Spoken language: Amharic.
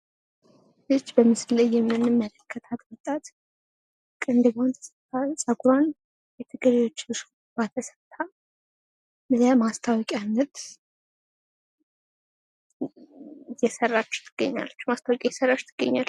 ይች በምስሉ ላይ የምንመለከታት ወጣት ቅንድቧን ጸጉሯን ሹርባ ተሰርታ ለማስታወቂያነት እየሰራች ትገኛለች። ማስታወቂያ እየሰራች ትገኛለች።